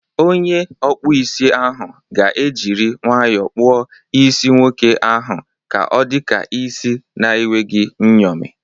Onye ọkpụ isi ahụ ga ejiri nwayọọ kpụọ isi nwoke ahụ ka ọdika isi na enweghị nyomi.